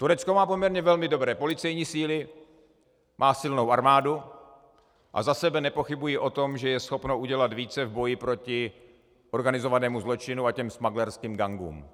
Turecko má poměrně velmi dobré policejní síly, má silnou armádu a za sebe nepochybuji o tom, že je schopno udělat více v boji proti organizovanému zločinu a těm smugglerským gangům.